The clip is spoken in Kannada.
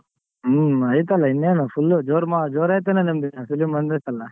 ಹ್ಮ್ ಐತಲ್ಲ ಇನ್ನೇನು full ಜೋರ್ ಮ ಜೋರಾಯ್ತೇನನ ನಿಮ್ದ್ film ಬಂದೈತಲ್ಲ.